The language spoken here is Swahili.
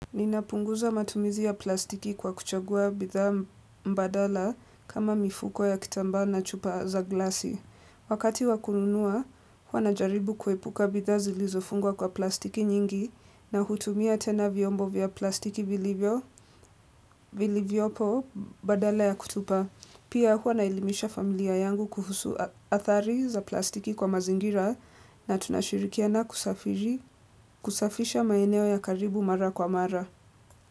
Ninapunguza matumizi ya plastiki kwa kuchagua bidhaa badala kama mifuko ya kitambaa na chupa za glasi. Wakati wa kununua, hua najaribu kuepuka bidhaa zilizofungwa kwa plastiki nyingi na hutumia tena vyombo vya plastiki vilivyopo badala ya kutupa. Pia hua naelimisha familia yangu kuhusu adhari za plastiki kwa mazingira na tunashirikiana kusafisha maeneo ya karibu mara kwa mara.